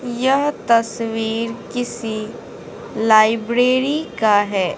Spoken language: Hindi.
यह तस्वीर किसी लाइब्रेरी का है।